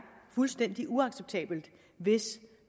fuldstændig uacceptabelt hvis